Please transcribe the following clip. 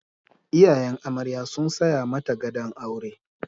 Iyayen amarya sun saya mata gadon aure.